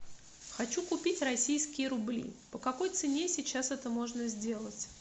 хочу купить российские рубли по какой цене сейчас это можно сделать